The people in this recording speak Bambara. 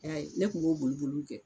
E y'a ye ne kun b'o boli boliw kɛ